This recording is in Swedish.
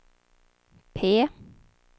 P